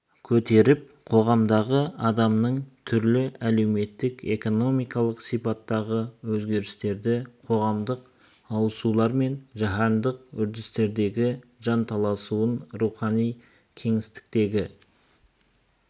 көтеріп қоғамдағы адамның түрлі әлеуметтік-экономикалық сипаттағы өзгерістерді қоғамдық ауысулар мен жаһандық үрдістегі жанталасын рухани кеңістіктегі